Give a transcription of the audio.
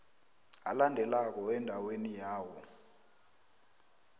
alandelako endaweni yawo